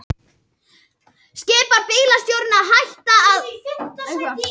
Þessar aðferðir eru þó komnar allmiklu skemmra á veg.